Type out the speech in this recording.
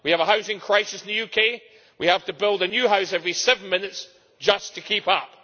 We have a housing crisis in the UK, and we have to build a new house every seven minutes just to keep up.